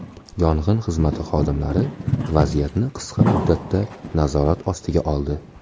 Yong‘in xizmati xodimlari vaziyatni qisqa muddatda nazorat ostiga oldi.